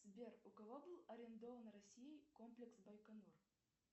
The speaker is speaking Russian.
сбер у кого был арендован россией комплекс байконур